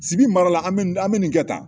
Sibi mara la an bɛ nin kɛ tan